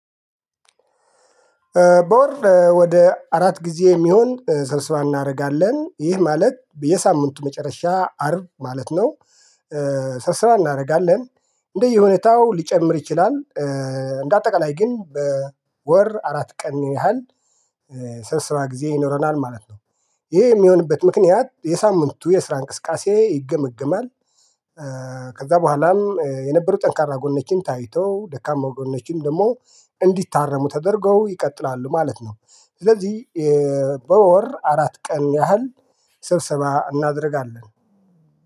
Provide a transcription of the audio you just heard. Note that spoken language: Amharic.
በወር ወደ አራት ጊዜ የሚሆን ሰብስባ እናደርጋለን ይህ ማለት የሳምንቱ መጨረሻ አርብ ማለት ነው። ሰብሰሳ እናደርጋለን እንደየሁነታው ሊጨምር ይችላል። እንደ አጠቃላይ ግን በወር አራት ቀን ያህል ስብሰባ ጊዜ ይኖረናል ማለት ነው። ይሄ የሚሆንበት ምክንያት የሳምንቱ የስራ እንቅስቃሴ ይገመግማል። ከዛ በኋላም የነበሩ ጠንካራ ጎን ነችን ታይተው ደካማ ጎን ነችን ደግሞ እንዲታረሙ ተደርገው ይቀጥላሉ ማለት ነው። ስለዚህ በወር አራት ቀን ያህል ስብሰባ እናደርጋለን